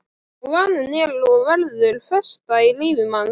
Og vaninn er og verður festa í lífi manns.